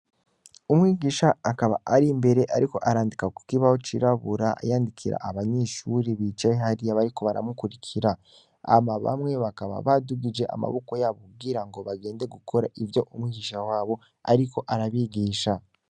Umwigisha akaba ari mbere, ariko arandika, kukibaho cirabura yandikira abanyishuri bicaye hariya bariko baramukurikira hama bamwe bakaba badugije amaboko yabo kubwira ngo bagende gukora ivyo umwigisha wabo, ariko arabigisha.